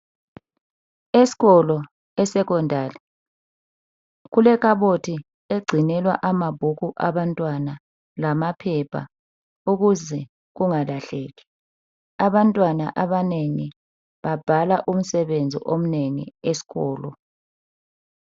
Esikolo, esecondary, kulekhabothi egcinelwa khona amabhuku abantwana, lamaphepha, ukuze kungalahleki. Abantwana abanengi babhala umsebenzi omnengi esikolo.